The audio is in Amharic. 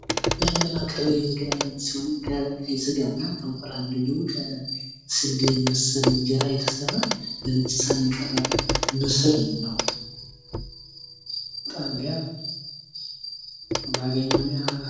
የሚያመላክተው የምግብ አይነት ሲሆን ከቀይ ስጋ እና ከእንቁላል እንዲሁም ስንዴ መሰል እንጀራ የተሰራ በነጭ ሰሃን የቀረበ ሰሃን ነው።